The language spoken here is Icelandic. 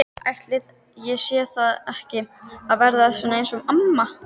Ætli ég sé ekki að verða eins og amma?